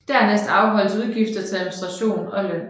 Dernæst afholdes udgifter til administration og løn